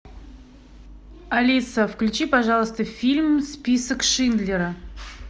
алиса включи пожалуйста фильм список шиндлера